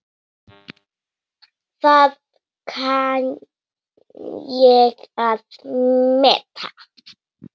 Það kann ég að meta.